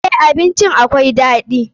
Eh, abincin akwai daɗi.